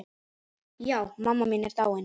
Já, mamma mín er dáin.